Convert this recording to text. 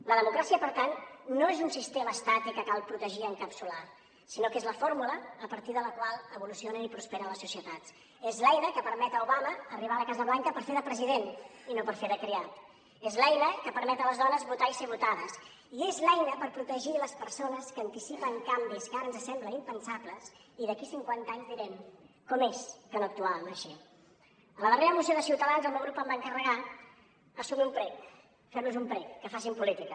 la democràcia per tant no és un sistema estàtic que cal protegir i encapsular sinó que és la fórmula a partir de la qual evolucionen i prosperen les societats és l’eina que permet a obama arribar a la casa blanca per fer de president i no per fer de criat és l’eina que permet les dones votar i ser votades i és l’eina per protegir les persones que anticipen canvis que ara ens semblen impensables i d’aquí cinquanta anys direm com és que no actuàvem així a la darrera moció de ciutadans el meu grup em va encarregar assumir un prec fer los un prec que facin política